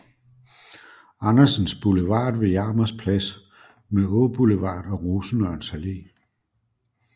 Andersens Boulevard ved Jarmers Plads med Åboulevard og Rosenørns Alle